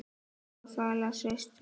En Bjarni Ben.